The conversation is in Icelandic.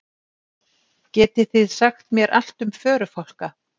Getið þið sagt mér allt um förufálka?